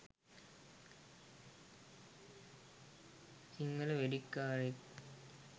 Sinhala වෙඩික්කාරයෙක්